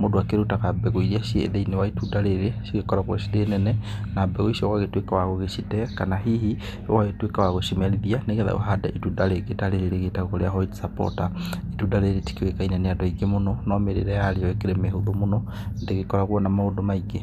Mũndũ akĩrutaga mbegũ iria ciĩ thĩiniĩ wa itunda rĩrĩ irĩa cigĩkoragwo cirĩ nene na mbegũ icio ũgagĩtuĩka wa gũcite kana hihi ũgagĩtuĩka wa gũcimerithia, nĩgetha ũhande itunda rĩngĩ ta rĩrĩ rĩtagwo rĩa white supporter. Itunda rĩrĩ rĩtikĩũĩkaine nĩ andũ aingĩ mũno, no mĩrĩre yarĩo ĩkĩrĩ mĩhũthũ mũno ndĩgĩkoragwo na maũndũ maingĩ.